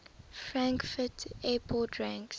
frankfurt airport ranks